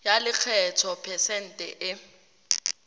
ya lekgetho phesente e